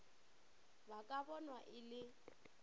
ba ka bonwa e le